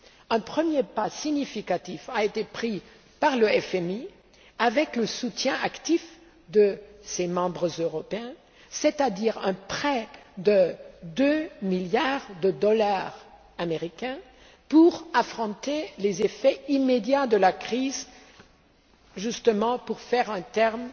Un premier pas significatif a été franchi par le FMI, avec le soutien actif de ses membres européens, c'est à dire un prêt de 2 milliards de dollars américains pour affronter les effets immédiats de la crise, justement pour faire un terme